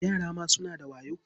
Yara ma suna da wayo.